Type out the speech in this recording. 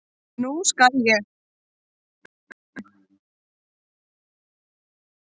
Nú skal ég.